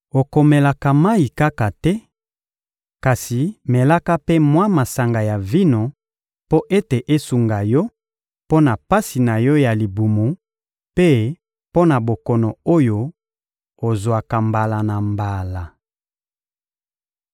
Okomelaka mayi kaka te, kasi melaka mpe mwa masanga ya vino mpo ete esunga yo mpo na pasi na yo ya libumu mpe mpo na bokono oyo ozwaka mbala na mbala.